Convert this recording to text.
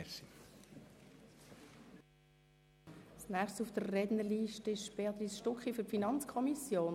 Als Nächste spricht Grossrätin Stucki für die FiKo.